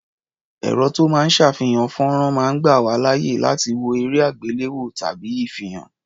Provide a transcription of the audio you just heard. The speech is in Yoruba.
Ẹ̀̀rọ ró máa ń ṣàfihàn fọ́nrán máa ń gbà wá láàyè láti wo erẹ́-àgbéléwò tàbí ìfihàn.